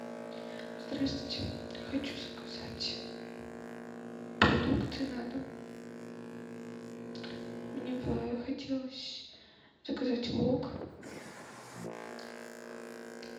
здравствуйте хочу заказать продукты на дом мне бы хотелось заказать вок